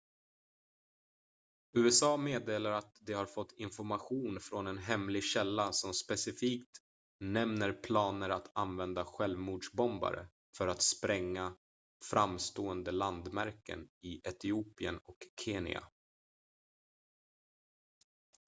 "usa meddelar att de har fått information från en hemlig källa som specifikt nämner planer att använda självmordsbombare för att spränga "framstående landmärken" i etiopien och kenya.